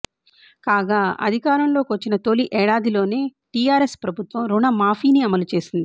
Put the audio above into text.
కాగా అధికారంలోకి వచ్చిన తొలి ఏడాదిలోనే టిఆర్ఎస్ ప్రభుత్వం రుణ మాఫీని అమలు చేసింది